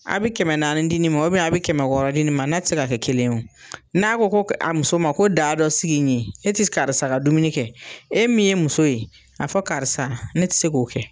A bi kɛmɛ naani di nin ma u bɛn a bi kɛmɛ wɔɔrɔ di nin ma na ti se ka kɛ kelen ye o n'a ko ko a muso ma ko da dɔ sigi in ye e ti karisa ka dumuni kɛ e min ye muso ye a fɔ karisa ne ti se k'o kɛ